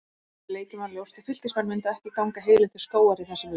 Fyrir leikinn var ljóst að Fylkismenn myndu ekki ganga heilir til skógar í þessum leik.